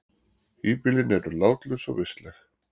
Híbýlin eru látlaus og vistleg.